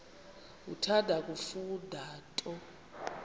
uthanda kufunda nto